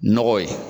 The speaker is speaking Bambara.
Nɔgɔ ye